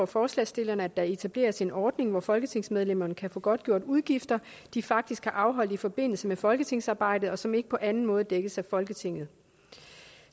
forslagsstillerne at der etableres en ordning hvor folketingsmedlemmerne kan få godtgjort udgifter de faktisk har afholdt i forbindelse med folketingsarbejdet og som ikke på anden måde dækkes af folketinget